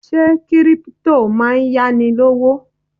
Ṣé Kírípútò máa ń yá ni lówó?